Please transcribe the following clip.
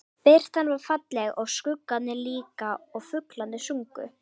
Birtan var falleg og skuggarnir líka og fuglarnir sungu.